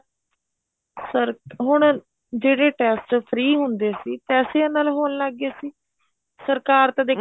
sir ਹੁਣ ਜਿਹੜੇ test free ਹੁੰਦੇ ਸੀ ਪੈਸਿਆ ਨਾਲ ਹੋਣ ਲੱਗ ਗਏ ਸੀ ਸਰਕਾਰ ਤਾਂ ਦੇਖੋ